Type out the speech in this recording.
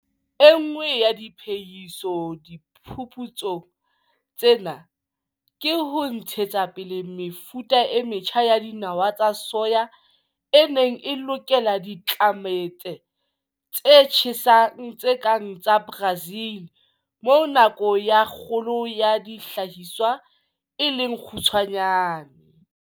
E nngwe ya diphehiso diphuputsong tsena ke ho ntshetsa pele mefuta e metjha ya dinawa tsa soya e neng e lokela ditlelaemete tse tjhesang tse kang tsa Brazil, moo nako ya kgolo ya dihlahiswa e leng kgutshwane.